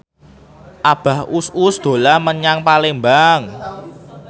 Abah Us Us dolan menyang Palembang